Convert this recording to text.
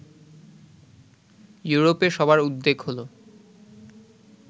ইউরোপে সবার উদ্বেগ হলো